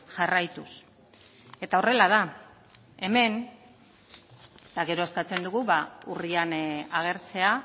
jarraituz eta horrela da hemen eta gero eskatzen dugu urrian agertzea